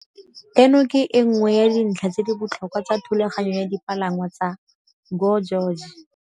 "Eno ke e nngwe ya dintlha tse di botlhokwa tsa thulaganyo ya dipalangwa tsa GO GEORGE."